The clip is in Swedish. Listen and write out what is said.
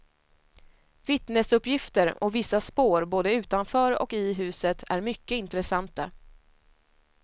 Vittnesuppgifter och vissa spår både utanför och i huset är mycket intressanta.